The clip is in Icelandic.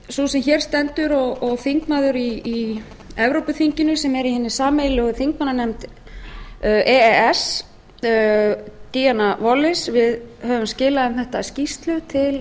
sú sem hér stendur og þingmaður í evrópuþinginu sem er í hinni sameiginlegu þingmannanefnd e e s d wallis við höfum skilað um þetta skýrslu til